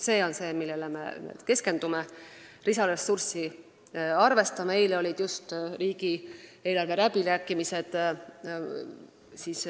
See on see, millele me keskendume ja milleks lisaressurssi arvestame.